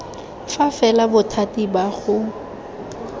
fa fela bothati ba go